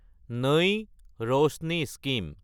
নাই ৰশ্নি স্কিম